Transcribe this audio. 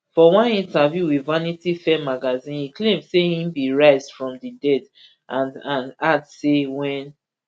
for one interview wit vanity fair magazine e claim say im bin rise from di dead and and add say wen